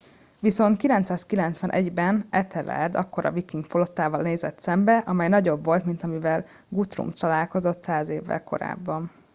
viszont 991 ben ethelred akkora viking flottával nézett szembe amely nagyobb volt mint amivel guthrum találkozott száz évvel korábban